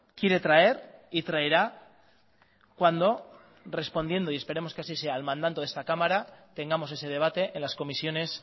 quiere traer y traerá cuando respondiendo y esperemos que así sea al mandato de esta cámara tengamos ese debate en las comisiones